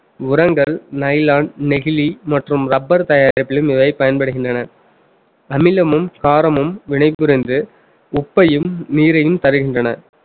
உரங்கள் nylon நெகிழி மற்றும் rubber தயாரிப்பிலும் இவன் பயன்படுகின்றன அமிலமும் காரமும் வினை புரிந்து உப்பையும் நீரையும் தருகின்றன